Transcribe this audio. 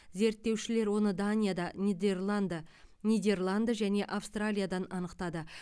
зерттеушілер оны данияда нидерланд нидерланд және австралиядан анықтады